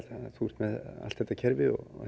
þú ert með allt þetta kerfi og að